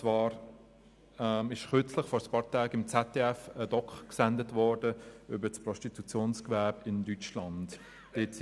Kürzlich wurde auf ZDF eine Dokumentation über das Prostitutionsgewerbe in Deutschland gesendet.